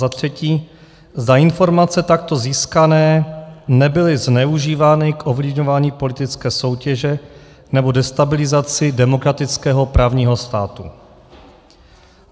za třetí, zda informace takto získané nebyly zneužívány k ovlivňování politické soutěže nebo destabilizaci demokratického právního státu.